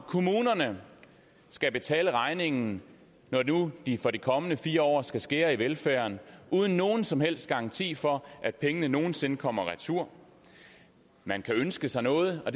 kommunerne skal betale regningen når nu de for de kommende fire år skal skære i velfærden uden nogen som helst garanti for at pengene nogen sinde kommer retur man kan ønske sig noget og